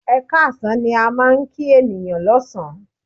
Ẹ káàsán ni a máa ń kí ènìyàn lọ́sàn án.